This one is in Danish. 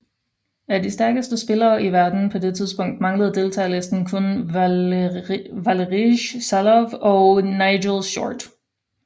Af de stærkeste spillere i verden på det tidspunkt manglede deltagerlisten kun Valerij Salov og Nigel Short